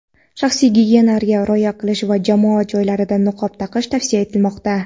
shaxsiy gigiyenaga rioya qilish va jamoat joylarida niqob taqish tavsiya etilmoqda.